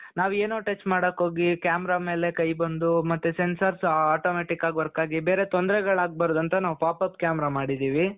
ನಾವು ಏನೋ touch ಮಾಡೋಕೆ ಹೋಗಿ camera ಮೇಲೆ ಕೈ ಬಂದು ಮತ್ತೆ sensors automatic ಆಗಿ work ಆಗಿ ಬೇರೆ ತೊಂದ್ರೆಗಳಾಗಬಾರದು ಅಂತ ನಾವು pop-up camera ಮಾಡಿದ್ದೀವಿ .